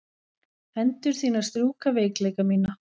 Hendur þínar strjúka veikleika mína.